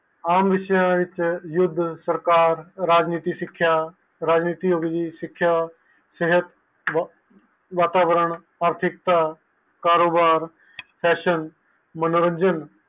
ਆਮ ਵਿਸ਼ਯ ਵਿਚ ਯੁੱਧ ਓਰ ਰਾਜਨੀਤੀ ਸਿੱਕੇਆਂ ਰਾਜਨੀਤੀ ਅਭਿਜੀਤ ਸਿੱਖਿਆ ਵਾਤਾਵਰਨ ਕਾਰੋਬਾਰ ਫੈਸ਼ਨ ਮਨੋਰੰਜਨ